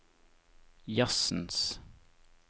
jazzens